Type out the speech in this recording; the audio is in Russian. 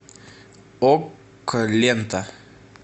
окко лента